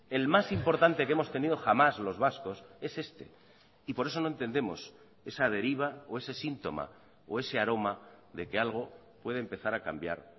el más importante que hemos tenido jamás los vascos es este y por eso no entendemos esa deriva o ese síntoma o ese aroma de que algo puede empezar a cambiar